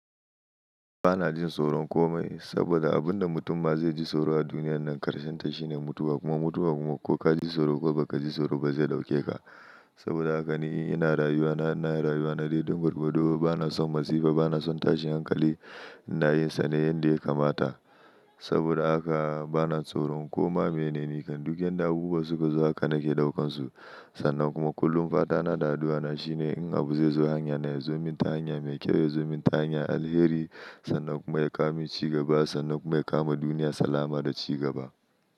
Ba na jin tsoron komai saboda abin da mutum ma zai ji tsoro a duniyar nan karshen ta shine mutuwa kuma mutuwa kuma ko ka ji tsoro ko ba ka ji tsoro ba zai ɗauke ka. Saboda haka ni ina rayuwa na ina rayuwa na dai don gorgordo ba na son matsifa ba na son tashin hankali ina yin sannan yanda ya kamata. Saboda haka ba na tsoron komai mene ne kan duk yanda abubuwa suka zo haka nake ɗaukan su. Sannan kuma kullum fadana da addu'ana shine in abu zai zo hanya na ya zo min ta hanya mai kyau ya zo min ta hanya alheri sannan kuma ya kawo min ci gaba sannan kuma ya kama duniya salama da ci gaba.